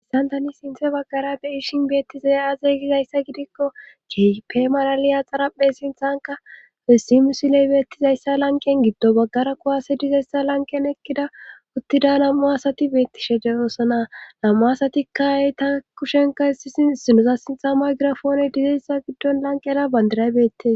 Haysan tani sinthe baggara be ishin beettizey azeygizayssa gidikko kep malaliya xaraphe sinthanka wessimusiley beettizayssa lanqen giddo baggara kuwase dizayssa lanqen ekkida uttida nam7u asati beettishede ooso naa lam7u asatikka eyta kushenka hissi inusa sintha maygirafoone dizayssa giddon lanqera bandiray beette